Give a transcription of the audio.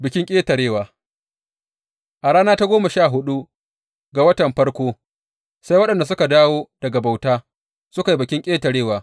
Bikin Ƙetarewa A rana ta goma sha huɗu ga watan farko, sai waɗanda suka dawo daga bauta suka yi Bikin Ƙetarewa.